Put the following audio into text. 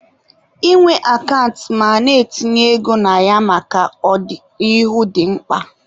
Ị nwe akant ma na-etinye ego na ya maka ọ dị n'ihu dị mkpa